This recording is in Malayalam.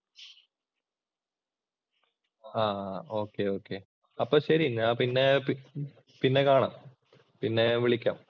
ആഹ് ഒക്കെ, ഒകെ അപ്പൊ ശരി നിങ്ങളെ പിന്നെ പിന്നെ കാണാം. പിന്നെ വിളിക്കാം.